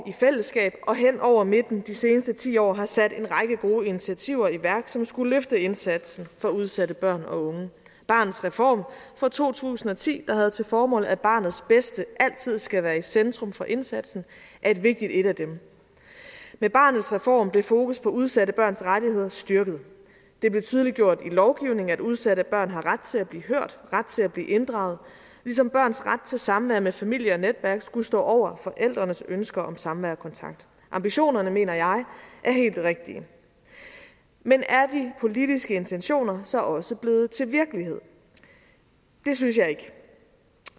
i fællesskab og hen over midten de seneste ti år har sat en række gode initiativer i værk som skulle løfte indsatsen for udsatte børn og unge barnets reform fra to tusind og ti der havde til formål at barnets bedste altid skal være i centrum for indsatsen er et vigtigt et af dem med barnets reform blev fokus på udsatte børns rettigheder styrket det blev tydeliggjort i lovgivningen at udsatte børn har ret til at blive hørt ret til at blive inddraget ligesom børns ret til samvær med familie og netværk skulle stå over forældrenes ønsker om samvær og kontakt ambitionerne mener jeg er helt rigtige men er de politiske intentioner så også blevet til virkelighed det synes jeg ikke